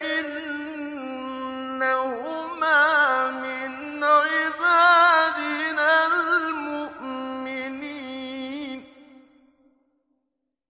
إِنَّهُمَا مِنْ عِبَادِنَا الْمُؤْمِنِينَ